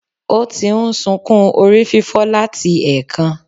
Ó ti n sukún orí fífọ́ láti èkan